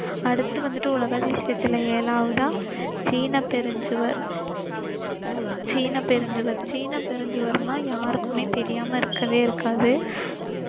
அடுத்து வந்திட்டு உலக அதிசயத்தில ஏழாவதா சீனபெருஞ்சுவர். சீனபெருஞ்சுவர், சீனபெருஞ்சுவர்ன்னா யாருக்குமே தெரியாம இருக்கவே இருக்காது.